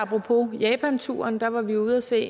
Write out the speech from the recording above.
på apropos japanturen var var vi ude at se